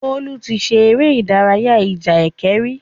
Bólú ti ṣe eré ìdarayá ìjà ẹkẹ rí.